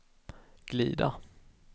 glida